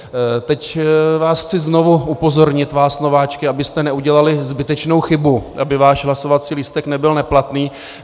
Teď vás chci znovu upozornit, vás nováčky, abyste neudělali zbytečnou chybu, aby váš hlasovací lístek nebyl neplatný.